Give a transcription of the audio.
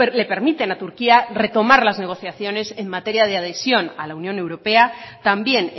le permiten a turquía retomar las negociaciones en materia de adhesión a la unión europea también